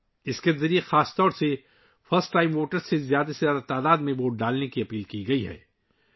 اس کے ذریعے پہلی بار ووٹروں سے خاص طور پر زیادہ سے زیادہ تعداد میں ووٹ ڈالنے کی درخواست کی گئی ہے